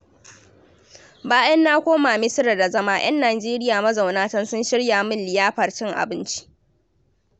Bayan na koma Misira da zama, 'yan Nigeria mazauna can sun shirya min liyafar cin abinci.